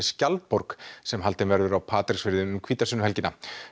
skjaldborg sem haldin verður á Patreksfirði um hvítasunnuhelgina